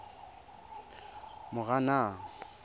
moranang